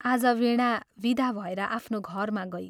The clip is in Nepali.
आज वीणा विदा भएर आफ्नो घरमा गई।